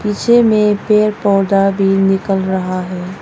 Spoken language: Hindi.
पीछे में पेड़ पौधा भी निकल रहा है।